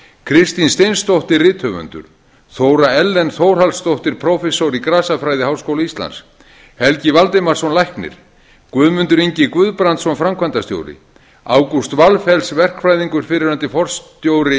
kristín steinsdóttir rithöfundur þóra ellen þórhallsdóttir prófessor í grasafræði við háskóla íslands helgi valdimarsson læknir guðmundur ingi guðbrandsson framkvæmdastjóri ágúst valfells verkfræðingur fyrrverandi forstjóri